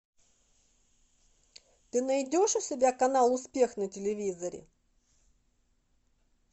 ты найдешь у себя канал успех на телевизоре